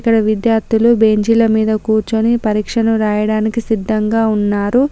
ఆడ విద్యార్థులు బెంచీల మీద కూర్చొని పరీక్షను రాయడానికి సిద్ధంగా ఉన్నారు.